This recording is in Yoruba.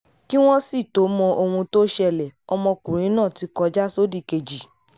kí wọ́n sì tóó mọ ohun tó ṣẹlẹ̀ ọmọkùnrin náà ti kọjá sódìkejì